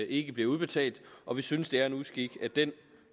ikke bliver udbetalt og vi synes det er en uskik at den